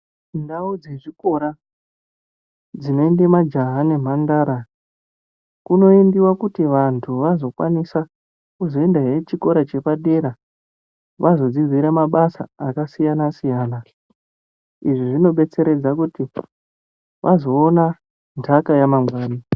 Ndau dzezvikora dzinoende majaha nemhandara kunoendiwa kuti vantu vazokwanisa kuzoendahe chikora chepadera, vazodzidzira mabasa akasiyana-siyana. Izvi zvinodetseredza kuti azoona ndaka yamangwani.